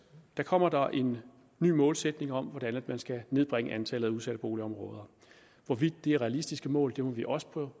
kommer der en ny målsætning om hvordan man skal nedbringe antallet af udsatte boligområder hvorvidt det er realistiske mål må vi også prøve